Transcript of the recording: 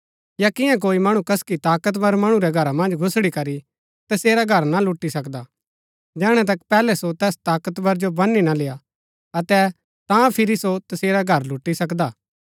या किआं कोई मणु कसकि ताकतवर मणु रै घरा मन्ज घुसड़ीकरी तसेरा घर ना लुटी सकदा जैहणै तक पैहलै सो तैस ताकतवर जो बनी ना लेय्आ अतै तां फिरी सो तसेरा घर लुटी सकदा हा